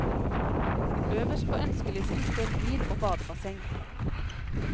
Øverst på ønskelisten står bil og badebasseng.